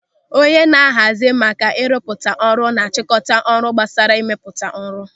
Onye na-ahazi maka ịrụpụta ọrụ na-achịkọta ọrụ gbasara ịmepụta ọrụ.